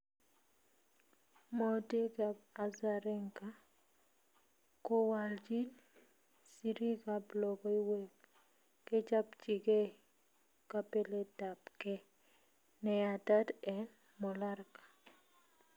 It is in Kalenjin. mwautig ap Azarenka kowaljin siriikap Logoiweg kechapchingee kapeletapkee neyatat en Mallorca